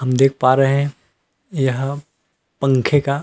हम देख पा रहे है यह पंखे का --